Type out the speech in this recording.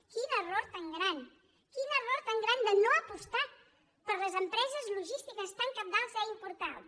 quin error tan gran quin error tan gran no apostar per les empreses logístiques tan cabdals i importants